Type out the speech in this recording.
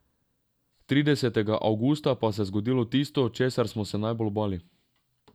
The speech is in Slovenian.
Tridesetega avgusta pa se je zgodilo tisto, česar smo se najbolj bali.